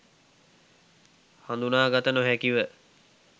හඳුනාගත නොහැකිව